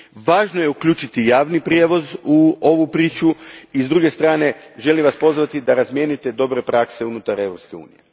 Važno je uključiti javni prijevoz u ovu priču, i s druge strane, želim vas pozvati da razmijenite dobre prakse unutar Europske unije.